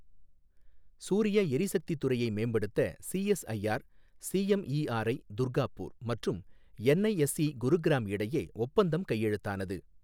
சூரிய எரிசக்தித் துறையை மேம்படுத்த சிஎஸ்ஐஆர் சிஎம்இஆர்ஐ, துர்காப்பூர் மற்றும் என்ஐஎஸ்ஈ, குருகிராம் இடையே ஒப்பந்தம் கையெழுத்தானது